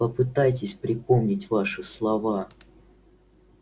попытайтесь припомнить ваши слова